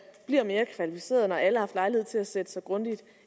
bliver mere kvalificeret når alle har lejlighed til at sætte sig grundigt